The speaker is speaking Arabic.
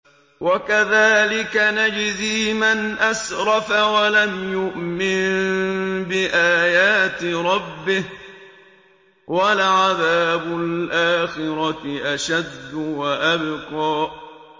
وَكَذَٰلِكَ نَجْزِي مَنْ أَسْرَفَ وَلَمْ يُؤْمِن بِآيَاتِ رَبِّهِ ۚ وَلَعَذَابُ الْآخِرَةِ أَشَدُّ وَأَبْقَىٰ